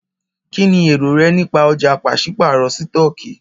Kínní èrò rẹ nípa ọ̀já pàṣípàrọ̀ sítọ̀kì?